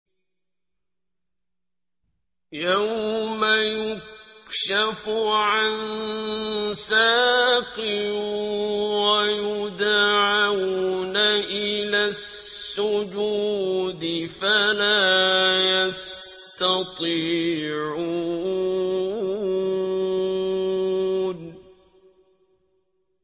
يَوْمَ يُكْشَفُ عَن سَاقٍ وَيُدْعَوْنَ إِلَى السُّجُودِ فَلَا يَسْتَطِيعُونَ